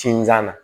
Sinzan na